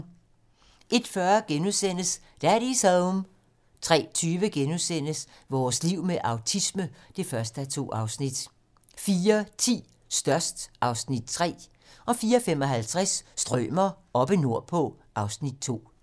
01:40: Daddy's Home * 03:20: Vores liv med autisme (1:2)* 04:10: Størst (Afs. 3) 04:55: Strømer oppe nordpå (Afs. 2)